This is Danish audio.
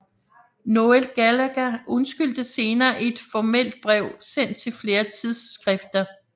Noel Gallagher undskyldte senere i et formelt brev sendt til flere tidssskrifter